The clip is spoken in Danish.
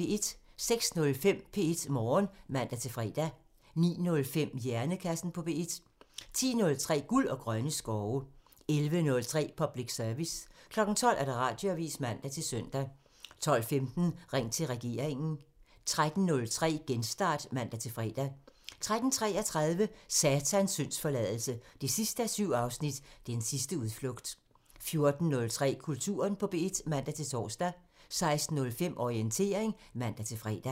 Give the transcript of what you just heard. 06:05: P1 Morgen (man-fre) 09:05: Hjernekassen på P1 (man) 10:03: Guld og grønne skove (man) 11:03: Public Service (man) 12:00: Radioavisen (man-søn) 12:15: Ring til regeringen (man) 13:03: Genstart (man-fre) 13:33: Satans syndsforladelse 7:7 – Den sidste udflugt 14:03: Kulturen på P1 (man-tor) 16:05: Orientering (man-fre)